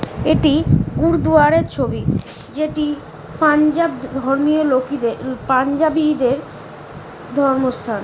এটিই গুরদোয়ারার ছবি যেটি পাঞ্জাব ধধর্মীয় লোকেদের পাঞ্জাবি দের ধর্ম স্থান ।